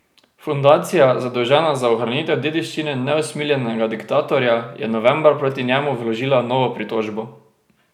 Fundacija, zadolžena za ohranitev dediščine neusmiljenega diktatorja, je novembra proti njemu vložila novo pritožbo.